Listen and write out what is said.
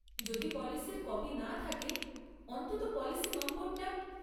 যদি পলিসির কপি না থাকে অন্তত পলিসি নম্বরটা।